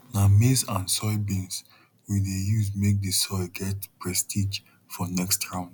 na maize and soybean we dey use make the soil get prestige for next round